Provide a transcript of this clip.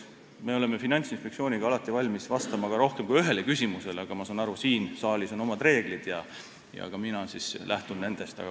Me oleme Finantsinspektsiooniga valmis vastama ka rohkem kui ühele küsimusele, aga ma saan aru, et siin saalis on oma reeglid ja ka mina lähtun nendest.